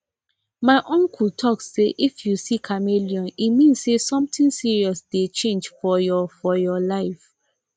my uncle talk say if you see chameleon e mean say something serious dey change for your for your life